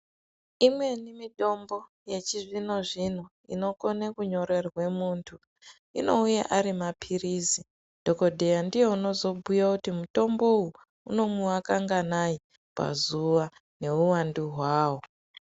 Imweni mitombo yechizvino zvino inokone kunyorerwe muntu inouya arimaphirizi dhokodheya ndiye unozobhuya kuti mutombo uwu unomwiwa kanganai pazuwa neuwando hwawo.